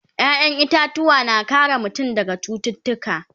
ƴaƴan itatuwa na kare mutum daga cututtuka